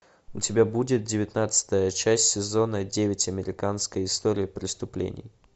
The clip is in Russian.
у тебя будет девятнадцатая часть сезона девять американская история преступлений